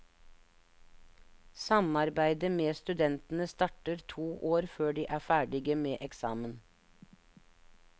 Samarbeidet med studentene starter to år før de er ferdige med eksamen.